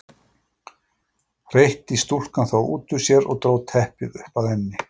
hreytti stúlkan þá út úr sér og dró teppið upp að enni.